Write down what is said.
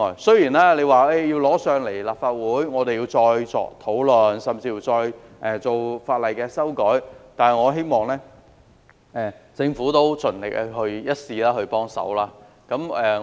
雖然有關建議要提交立法會，議員要再作討論，甚至再修改法例，但我希望政府盡力一試，給予幫忙。